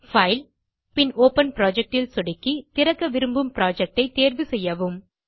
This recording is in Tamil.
பைல் பின் ஒப்பன் புரொஜெக்ட் ல் சொடுக்கி திறக்க விரும்பும் புரொஜெக்ட் ஐ தேர்வு செய்யவும்